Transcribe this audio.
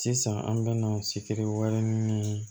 Sisan an bɛna sifiriwari ni